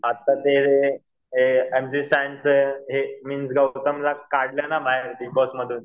आता ते M C स्टॅनचं हे मीन्स गौतमला काढलं ना बाहेर बिगबॉस मधून